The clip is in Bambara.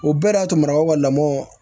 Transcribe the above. O bɛɛ y'a to marako ka lamɔn